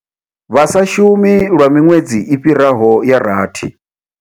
Vha sa shumi lwa miṅwedzi i fhiraho ya rathi.